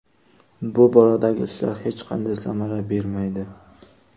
Bu boradagi ishlar hech qanday samara bermaydi.